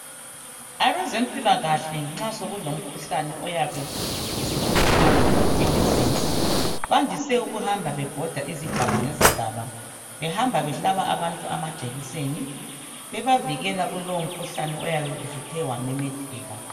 Abezempilakahle nxa sokulo mkhuhlane oyabe usihlupha elizweni bandise ukuhamba bebhoda izigaba ngezigaba behamba behlaba abantu amajekiseni bebavikela kulowo mkhuhlane oyabe usuthe wamemetheka.